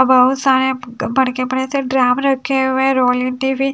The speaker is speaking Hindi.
बहुत सारे बड़के बड़े से ड्राम रखे हुए हैं